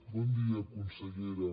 bon dia consellera